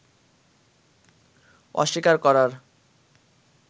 অস্বীকার করার